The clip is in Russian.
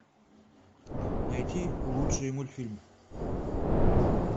найти лучшие мультфильмы